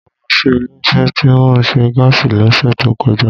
Mo lọ sí ilé isé tí ó nse gáàsì ló sè tó kọjá